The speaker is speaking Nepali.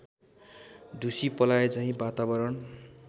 ढुसी पलाएझैँ वातावरण